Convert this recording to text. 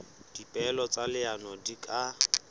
dipehelo tsa leano di ka